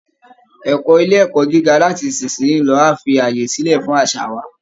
Ẹ̀kọ́ ilé ẹ̀kọ́ gíga láti ìsinsìnyí lọ á fi àyè sílẹ̀ fún àṣà wa